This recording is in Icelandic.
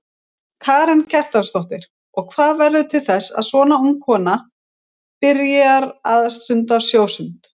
Karen Kjartansdóttir: Og hvað verður til þess að svona ung stúlka byrjar að stunda sjósund?